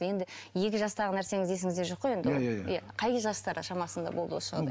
енді екі жастағы нәрсеңіз есіңізде жоқ қой енді ол иә иә иә қай кез жастар шамасында болды осы жағдай